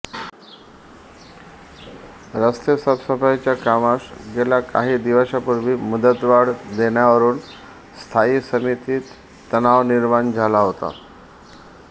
रस्ते साफसफाईच्या कामास गेल्या काही दिवसांपूर्वी मुदतवाढ देण्यावरून स्थायी समितीत तणाव निर्माण झाला होता